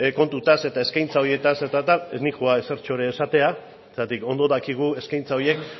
kontutaz eta eskaintza horietaz eta tal ez noa ezertxo ere esatera zergatik ondo dakigu eskaintza horiek